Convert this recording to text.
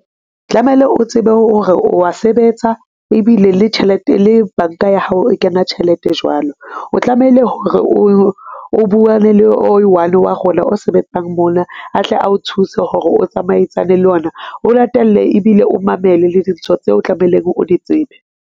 Tlamele o tsebe hore o wa sebetsa ebile le tjhelete, le banka ya hao, e kena tjhelete jwalo. O tlamehile hore o buwe le o i-one wa rona o sebetsang mona atle a o thuse hore o tsamaisane le ona, o latelle ebile o mamele le dintho tseo tlamehileng o di tsebe.